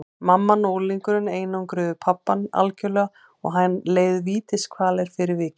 Mamman og unglingurinn einangruðu pabbann algjörlega og hann leið vítiskvalir fyrir vikið.